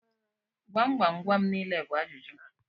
Gwam gwam gwam nile bu ajuju.